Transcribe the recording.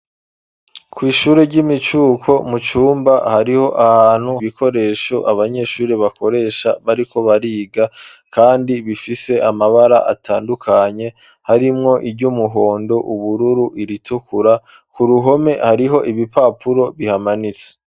Kw'ishure ry'imicuko mu cumba hariho ahantu kibikoresho abanyeshuri bakoresha bariko bariga kandi bifise amabara atandukanye harimwo iry'umuhondo, ubururu, iritukura ku ruhome hariho ibipapuro bihamanitse.